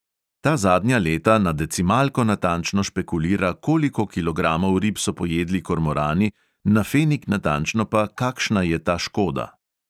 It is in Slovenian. Ta zadnja leta na decimalko natančno špekulira, koliko kilogramov rib so pojedli kormorani, na fenig natančno pa, kakšna je ta škoda.